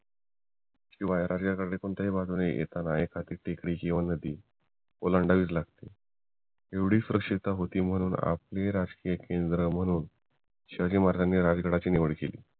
कोणत्याही बाजूने तेज्डी किंवा नदी ओलांडवीच लागते एवढी सुरक्षित होती म्हणून आपली राज्यकेंद्र म्हणून शिवाजी महराज राजगडाची निवड केली